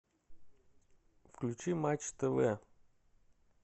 включи матч тв